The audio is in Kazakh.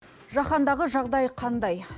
жаһандағы жағдай қандай